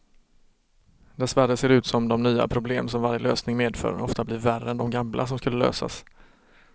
Dessvärre ser det ut som de nya problem som varje lösning medför ofta blir värre än de gamla som skulle lösas.